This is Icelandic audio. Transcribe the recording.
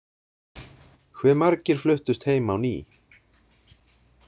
Hve margir fluttust heim á ný?